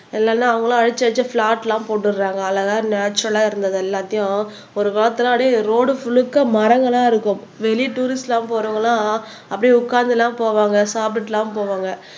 இல்லைன்னா அவங்களும் அழிச்சு அழிச்சு பிளாட்லாம் போட்டுடுறாங்க அழகா நேச்சரல்லா இருந்தது எல்லாத்தையும் ஒரு காலத்துல அப்படியே ரோடு முழுக்க மரங்களா இருக்கும் வெளிய டுரிஸ்ட்லாம் போறவங்கெல்லாம் அப்படியே உட்கார்ந்து எல்லாம் போவாங்க சாப்பிட்டுட்டுலாம் போவாங்க